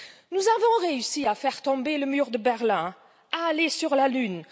Nous avons réussi à faire tomber le mur de Berlin, à aller sur la lune.